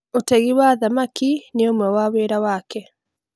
ũtegi wa thamaki nĩ ũmwe wa wĩra wake